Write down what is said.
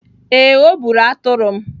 Ee, ọ bụrụ atụrụ m.